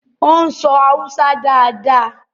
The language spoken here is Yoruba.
o ń so Hausa dá dá.